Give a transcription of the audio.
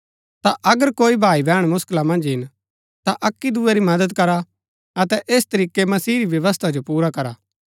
ता अगर कोई भाई बैहण मुसकिला मन्ज हिन ता अक्की दूये री मदद करा अतै ऐस तरीकै मसीह री व्यवस्था जो पुरा करा